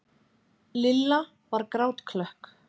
Lilla var grátklökk.